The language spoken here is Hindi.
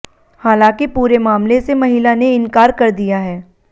हालांकि पूरे मामले से महिला ने इंकार कर दिया है